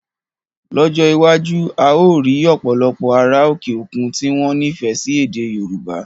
Lọ́jọ́ iwájú, a ó rí òpòlopò ará òkè òkun tí wọ́n nifẹ sí ède Yorùbá